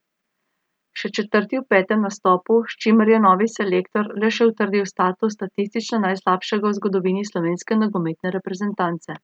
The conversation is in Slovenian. Še četrti v petem nastopu, s čimer je novi selektor le še utrdil status statistično najslabšega v zgodovini slovenske nogometne reprezentance.